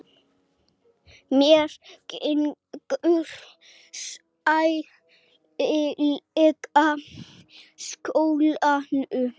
Mér gengur sæmilega í skólanum.